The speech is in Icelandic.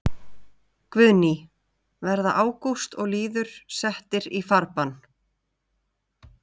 Guðný: Verða Ágúst og Lýður settir í farbann?